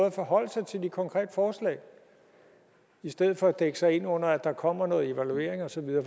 at forholde sig til de konkrete forslag i stedet for at dække sig ind under at der kommer noget evaluering og så videre